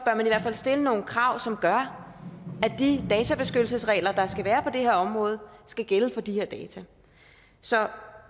stille nogle krav som gør at de databeskyttelsesregler der skal være på det her område skal gælde for de her data så